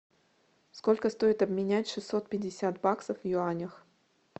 сколько стоит обменять шестьсот пятьдесят баксов в юанях